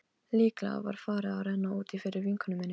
Líklega var farið að renna út í fyrir vinkonu minni.